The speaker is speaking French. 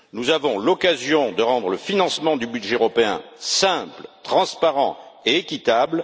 Nous avons l'occasion de rendre le financement du budget européen simple, transparent et équitable.